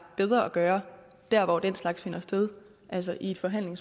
bedre at gøre der hvor den slags finder sted altså i en forhandling